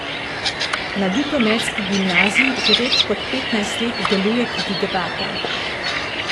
Na ljutomerski gimnaziji že več kot petnajst let deluje tudi debata.